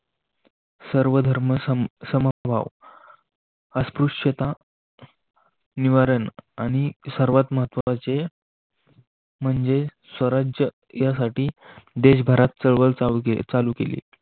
स्वधर्म सर्वसमभाव अस्पृश्यता निवारण आणि सर्वात महत्त्वाचे म्हणजे स्वराज्य यासाठी देशभरात चळवळ चालू केली चालू.